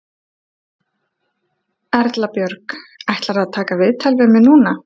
Erla Björg: Ætlarðu að taka viðtal við mig núna?